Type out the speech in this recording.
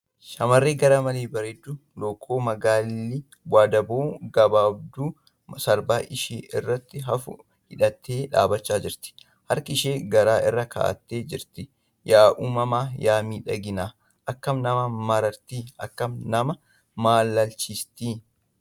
Shamarreen garmalee bareedduu lookoo magaalli wandaboo gabaabduu sarbaa ishee irratti hafu hidhattee dhaabbachaa jirti. Harka ishee garaa irra kaa'attee jirti. Yaa uumama yaa miidhagina akkkam nama marartii? Akkam nama maalalchiistii?